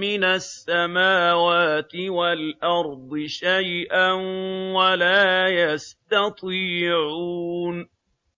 مِّنَ السَّمَاوَاتِ وَالْأَرْضِ شَيْئًا وَلَا يَسْتَطِيعُونَ